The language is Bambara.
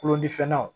Kulo ni fɛn naw